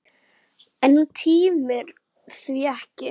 En hún tímir því ekki!